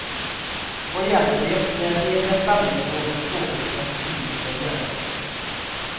Vad hjälper det när de där framme går som tåget på transsibiriska järnvägen.